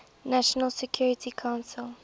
nations security council